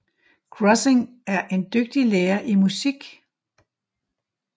Krossing en dygtig lærer i musik